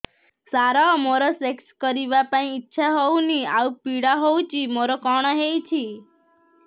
ସାର ମୋର ସେକ୍ସ କରିବା ପାଇଁ ଇଚ୍ଛା ହଉନି ଆଉ ପୀଡା ହଉଚି ମୋର କଣ ହେଇଛି